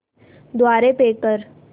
द्वारे पे कर